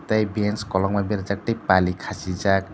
tei bench kolokma berajak tei pali khasijak.